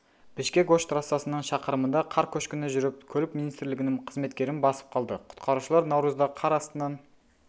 бішкек ош трассасының шақырымында қар көшкіні жүріп көлік министрлігінің қызметкерін басып қалды құтқарушылар наурызда қар астынан